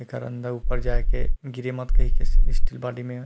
एकर अंदर ऊपर जाय के गिरिमत कही के स्टील बॉडी में --